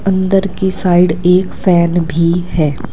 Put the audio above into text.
अंदर की साइड एक फैन भी है।